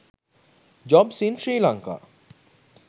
jobs in sri lanka